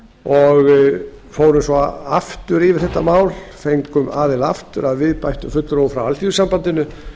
og fórum svo aftur yfir það fengum gestina aftur að viðbættum fulltrúum frá alþýðusambandinu